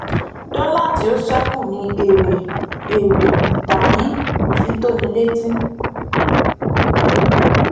dọlà tí ó ṣẹkù ni èrè èrè tàbí ifitónilétí